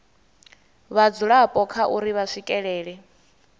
vhadzulapo kha uri vha swikelela